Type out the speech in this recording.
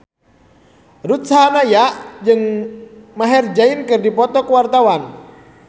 Ruth Sahanaya jeung Maher Zein keur dipoto ku wartawan